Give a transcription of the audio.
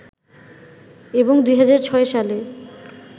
এবং ২০০৬ সালে